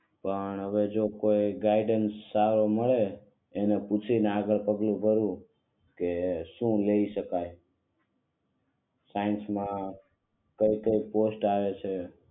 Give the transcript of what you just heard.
પણ હવે જો કોઈ ગાઈડન્સ મળે એટલે પૂછીને આગળ પગલું ભરવું કે શું લઇ શકાય સાયન્સ માં કઈ કઈ પોસ્ટ આવે છે